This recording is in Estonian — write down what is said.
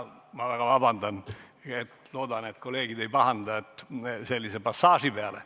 Ma palun väga vabandust ja loodan, et kolleegid ei pahanda sellise passaaži peale.